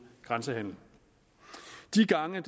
grænsehandel de gange